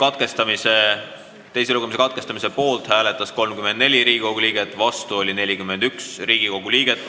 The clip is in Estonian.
Hääletustulemused Eelnõu teise lugemise katkestamise poolt hääletas 34 ja vastu oli 41 Riigikogu liiget.